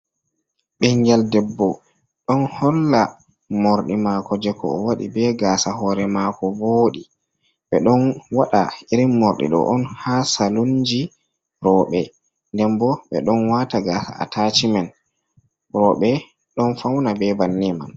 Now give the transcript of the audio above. Ɓingel debbo ɗon holla mordi mako, je ko o wadi be gasa hore mako, vodi ɓe ɗon waɗa irin morɗi ɗo on ha salunji rooɓe, nden bo ɓe ɗon wata gasa atachi men roɓe ɗon fauna be banni man